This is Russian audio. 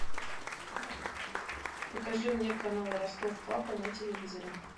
покажи мне канал ростов папа на телевизоре